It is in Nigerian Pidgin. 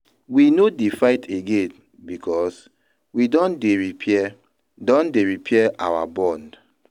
We no dey fight again because we don dey repair don dey repair our bond.